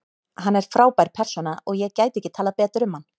Hann er frábær persóna og ég gæti ekki talað betur um hann.